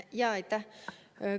Jaa, aitäh!